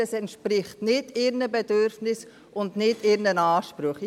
Das entspricht weder ihren Bedürfnissen noch ihren Ansprüchen.